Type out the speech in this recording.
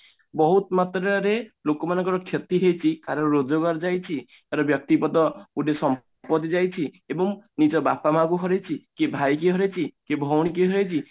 ବହୁତ ମାତ୍ରା ରେ ଲୋକମାନଙ୍କ କ୍ଷତି ହେଇଛି କାହାର ରୋଜଗାର ଯାଇଛି କାହାର ବ୍ୟକ୍ତିପଦ ସମ୍ପତି ଯାଇଛି ଏବଂ ନିଜ ବାପା ମା କୁ ହରେଇଛି କି ଭାଇ କି ହରେଇଛି କି ଭଉଣୀ କୁ ହରେଇଛି